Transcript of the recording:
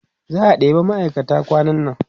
za'a ɗeba ma'aikata kwanan nan